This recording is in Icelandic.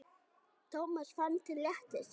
Thomas fann til léttis.